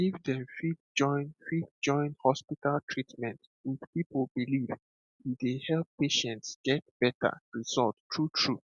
if dem fit join fit join hospital treatment with people belief e dey help patients get better result true true